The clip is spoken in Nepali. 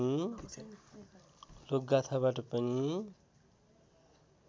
लोकगाथाबाट पनि